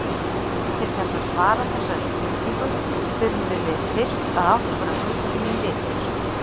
Til þess að svara þessari spurningu þurfum við fyrst að átta okkur á hugtakinu litir.